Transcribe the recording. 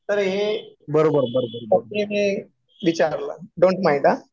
तर हे फक्त मी विचारलं. डोन्ट माईंड हा.